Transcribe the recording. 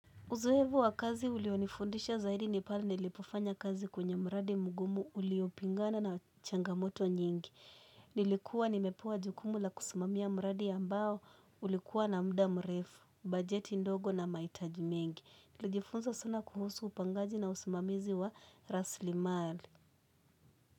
Uzoevu wa kazi ulionifundisha zaidi nipale nilipofanya kazi kwenye mradi mgumu uliopingana na changamoto nyingi. Nilikuwa nimepewa jukumu la kusimamia mradi ambao ulikuwa na mda mrefu, bajeti ndogo na mahitaji mengi. Nilijifunza sana kuhusu upangaji na usimamizi wa raslimali.